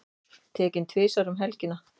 Tekinn tvisvar um helgina